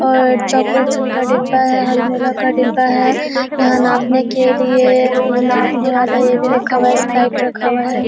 और चॉकलेट सबका डिब्बा है हाजमोला का डिब्बा है यहाँ नापने के लिए नापने वाला ये भी रखा हुआ है स्प्राइट रखा हुआ है।